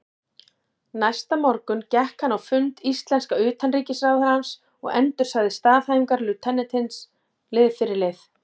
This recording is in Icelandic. Næsta morgun gekk hann á fund íslenska utanríkisráðherrans og endursagði staðhæfingar lautinantsins lið fyrir lið.